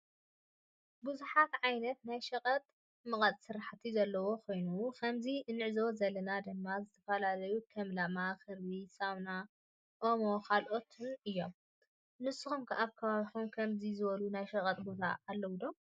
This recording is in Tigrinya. ብዙሓት ዓይነት ናይ ሽቀጥ መቀጥ ሰራሕቲ ዘለው ኮይኖም ከምዚ እንዕዞቦ ዘለና ድማ ዝተፈላለዩ ከም ላማ፣ ክርቢት፣ ሳሙና፣ ኦሞ ካልኣት እዬም ።ንስኩም ከ አብ ከባቢኩም ከምዚ ዝበሉ ናይ ሾቀጥ ቦታ አሎ ዶ ?